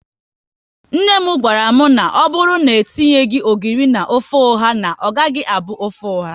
Nne m gwara m, na ọbụrụ na e tinyeghi ogiri na ofe ọha, na ọ gaghị abụ ofe oha